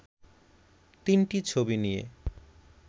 তিনটি ছবি নিয়ে